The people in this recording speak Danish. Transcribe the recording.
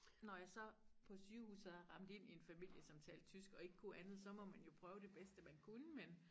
Når jeg så på sygehuset er rendt ind i en familie som talte tysk og ikke kunne andet så må man jo prøve det bedste man kunne men